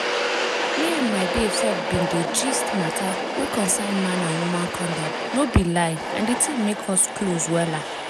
me and my babe sef bin dey gist matter wey concern man and woman condom no be lie and di thing make us close wella.